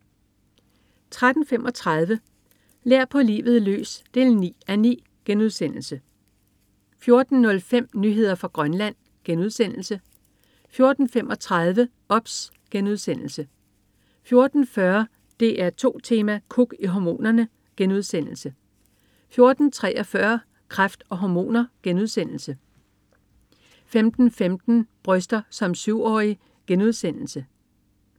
13.35 Lær på livet løs 9:9* 14.05 Nyheder fra Grønland* 14.35 OBS* 14.40 DR2 Tema: Kuk i hormonerne* 14.43 Kræft og hormoner* 15.15 Bryster som syvårig*